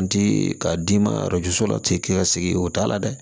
N ti ka d'i ma la ten k'i ka segin o t'a la dɛ